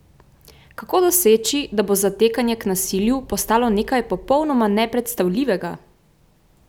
Kako doseči, da bo zatekanje k nasilju postalo nekaj popolnoma nepredstavljivega?